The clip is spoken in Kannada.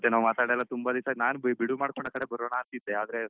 ಮತ್ತೆ ನಾವ್ ಮಾತಾಡೆಲ್ಲ ತುಂಬ ದಿವ್ಸ ಆಯ್ತು ನಾನ್ ಬಿಡ್ವ್ ಮಾಡ್ಕೊಂಡು ಆ ಕಡೆ ಬರೋಣ ಅಂತ ಇದ್ದೆಆದ್ರೆ